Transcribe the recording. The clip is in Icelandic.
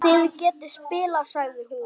Þið getið spilað, sagði hún.